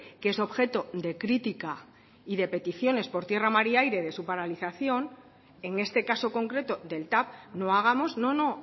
que es objeto de crítica y de peticiones por tierra mar y aire de su paralización en este caso concreto del tav no hagamos no no